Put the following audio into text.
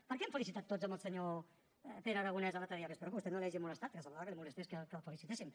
per què hem felicitat tots el senyor pere aragonés l’altre dia que espero que a vostè no l’hagi molestat perquè semblava que el molestés que el felicitéssim